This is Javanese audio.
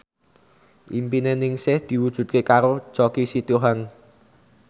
impine Ningsih diwujudke karo Choky Sitohang